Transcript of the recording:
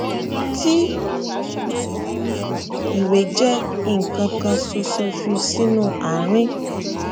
tí ìwé jẹ nkan kan ṣoṣo fi sínú àárín